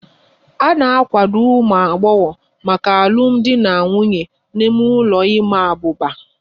A na-akwadebe ụmụ agbọghọ maka alụmdi na nwunye n'ime ụlọ ịma abuba